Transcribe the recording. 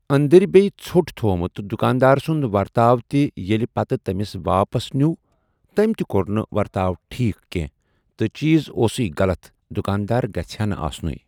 أندٕرۍ بیٚیہِ ژۄٹھ تھوٚمُت تہٕ دُکاندار سُنٛد ورتاو تہِ ییٚلہِ پَتہٕ تٔمِس واپَس نیوٗ تٔمۍ تہِ کوٚر نہٕ ورتاو ٹھیٖک کینٛہہ تہٕ چیٖز اوسُے غلط دُکاندار گژھِ ہَا نہٕ آسنُے۔